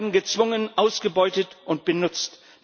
Sie werden gezwungen, ausgebeutet und benutzt.